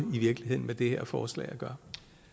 med det her forslag at gøre